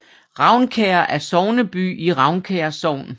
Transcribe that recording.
Ravnkær er sogneby i Ravnkær Sogn